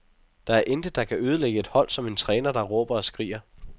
Der er intet, der kan ødelægge et hold som en træner, der råber og skriger.